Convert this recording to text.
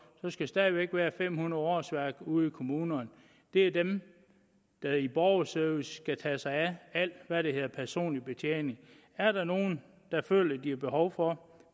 stadig væk skal være fem hundrede årsværk ude i kommunerne det er dem der i borgerservice skal tage sig af alt hvad der hedder personlig betjening er der nogen der føler at de har behov for